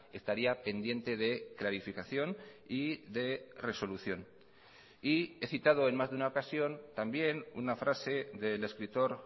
estaría pendiente de clarificación y de resolución y he citado en más de una ocasión también una frase del escritor